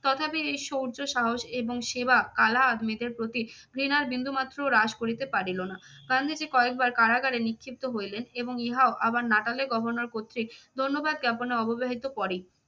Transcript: তথাপি এই সৌর্য সাহস এবং সেবা, কালা আদমিদের প্রতি ঘৃণার বিন্দুমাত্র হ্রাস করিতে পারিল না। গান্ধীজি কয়েকবার কারাগারে নিক্ষিপ্ত হইলেন এবং ইহাও আবার নাটালের governor কর্তৃক ধন্যবাদ জ্ঞাপনের পরেই।